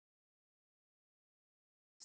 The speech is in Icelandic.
Til Helgu.